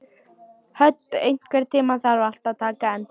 Hödd, einhvern tímann þarf allt að taka enda.